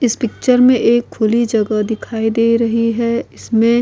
इस पिक्चर में एक खुली जगह दिखाई दे रही है इसमें --